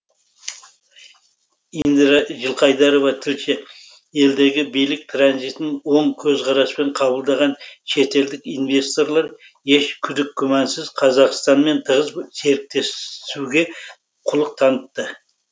индира жылқайдарова тілші елдегі билік транзитін оң көзқараспен қабылдаған шетелдік инвесторлар еш күдік күмәнсіз қазақстанмен тығыз серіктесуге құлық танытты